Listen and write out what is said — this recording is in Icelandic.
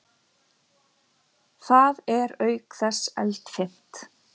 Það er auk þess eldfimt.